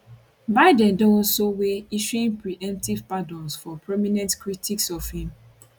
biden don also weigh issuing preemptive pardons for prominent critics of im